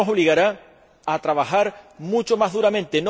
Esto nos obligará a trabajar mucho más duramente.